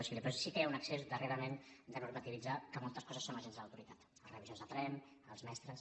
si té un excés darrerament de normativitzar que moltes coses són agents de l’autoritat els revisors de tren els mestres